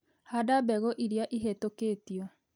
Handa mbegu irĩa ihetũkĩtio.